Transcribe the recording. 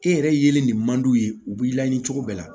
E yɛrɛ yelen nin man d'u ye u b'i laɲini cogo bɛɛ la